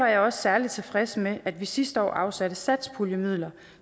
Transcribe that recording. jeg også særlig tilfreds med at vi sidste år afsatte satspuljemidler